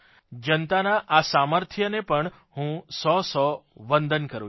જનતાના આ સામર્થ્યને પણ હું સો સો વંદન કરૂં છું